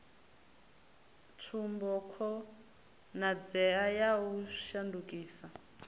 tsumbo khonadzeo ya u shandukisa